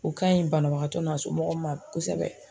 O ka ɲi banabagatɔ n'a somɔgɔw ma kosɛbɛ.